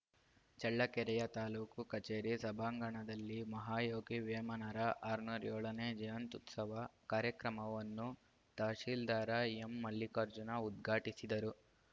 ಚಳ್ಳಕೆರೆಯ ತಾಲೂಕು ಕಚೇರಿ ಸಭಾಂಗಣದಲ್ಲಿ ಮಹಾಯೋಗಿ ವೇಮನರ ಆರನೂರ ಏಳನೇ ಜಯಂತ್ಯುತ್ಸವ ಕಾರ್ಯಕ್ರಮವನ್ನು ತಹಸೀಲ್ದಾರ್‌ ಎಂಮಲ್ಲಿಕಾರ್ಜುನ ಉದ್ಘಾಟಿಸಿದರು